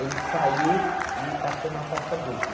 Ele saiu e passou na faixa dupla.